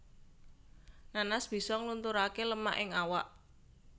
Nanas bisa nglunturaké lemak ing awak